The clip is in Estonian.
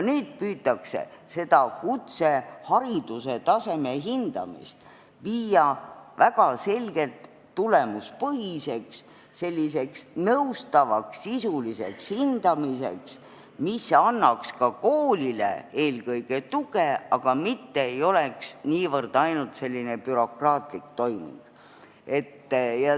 Nüüd püütakse viia kutsehariduse taseme hindamist väga selgelt tulemuspõhiseks, selliseks nõustavaks sisuliseks hindamiseks, mis annaks ka koolile eelkõige tuge, mitte ei oleks ainult bürokraatlik toiming.